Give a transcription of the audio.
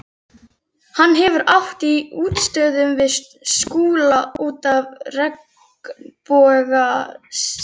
Hann hefur átt í útistöðum við Skúla út af regnbogasilungi.